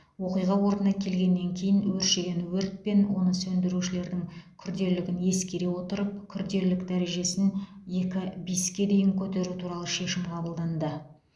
оқиға орнына келгеннен кейін өршіген өрт пен оны сөндірушілердің күрделілігін ескере отырып күрделілік дәрежесін екі бис ке дейін көтеру туралы шешім қабылданды